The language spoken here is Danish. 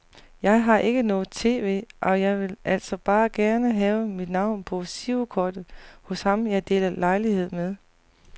Jeg har ikke noget tv, og jeg ville altså bare gerne have mit navn på girokortet hos ham jeg deler lejlighed med.